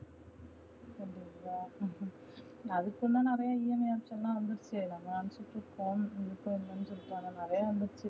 அதுக்கும் தா நிறைய EMI option லா வந்துடுச்சே நிறையா வந்துடுச்சே இல்லையா